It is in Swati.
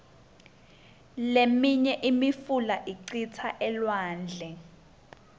liminye imifula icitsa elwandle